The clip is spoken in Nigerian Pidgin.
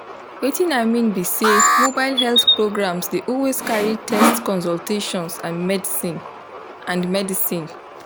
wetin i mean be say mobile health programs dey always carry test consultations and medicine. and medicine.